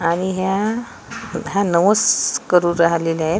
आणि ह्या हा नवस करू राहिलेल्या आहेत.